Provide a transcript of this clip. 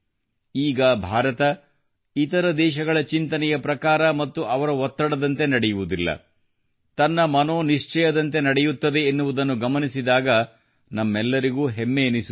ಈಗ ಭಾರತವು ಇತರ ದೇಶಗಳ ಚಿಂತನೆಯ ಪ್ರಕಾರ ಮತ್ತು ಅವರ ಒತ್ತಡದಂತೆ ನಡೆಯುವುದಿಲ್ಲ ತನ್ನ ಮನೋ ನಿಶ್ಚಯದಂತೆ ನಡೆಯುತ್ತದೆ ಎನ್ನುವುದನ್ನು ಗಮನಿಸಿದಾಗ ನಮ್ಮೆಲ್ಲರಿಗೂ ಹೆಮ್ಮೆಯೆನಿಸುತ್ತದೆ